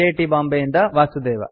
T Bombay ಯಿಂದ ವಾಸುದೇವ